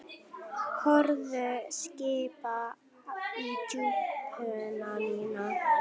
Hörð kippa í úlpuna mína.